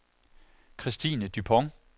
Kristine Dupont